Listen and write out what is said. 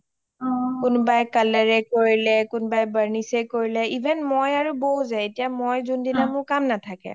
কোনোবাই colour এ কৰিলে কোনোবাই barnish এ কৰিলে even ময় আৰু বৌ যে এতিয়া মই যোন মোৰ যোনদিনা কাম নাথাকে